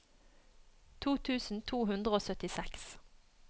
to tusen to hundre og syttiseks